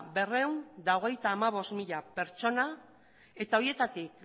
berrehun eta hogeita hamabost mila pertsona eta horietatik